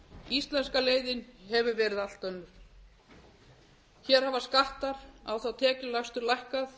íslenska leiðin hefur verið allt önnur hér hafa skattar á þá tekjulægstu lækkað